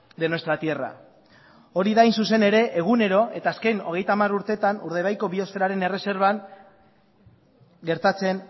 de nuestra tierra hori da hain zuzen ere egunero eta azken hogeita hamar urteetan urdaibaiko biosferaren erreserban gertatzen